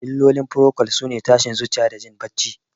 Illolin furokol sune tashin zuciya da jin bacci.